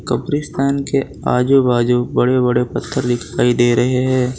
कब्रिस्तान के आजू बाजू बड़े बड़े पत्थर दिखाई दे रहे है।